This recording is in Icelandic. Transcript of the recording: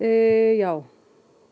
já